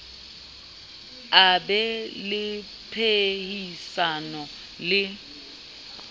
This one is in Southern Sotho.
a be le phehisano le